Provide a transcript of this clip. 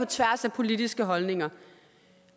tværs af politiske holdninger